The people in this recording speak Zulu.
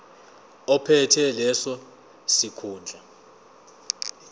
ophethe leso sikhundla